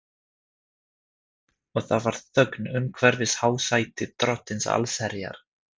Og það var þögn umhverfis hásæti Drottins allsherjar.